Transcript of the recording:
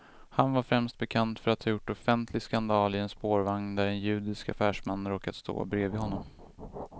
Han var främst bekant för att ha gjort offentlig skandal i en spårvagn där en judisk affärsman råkat stå bredvid honom.